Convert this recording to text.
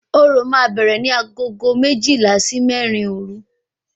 Orò máa bẹ̀rẹ̀ ní aago méjìlá sí mẹ́rin òru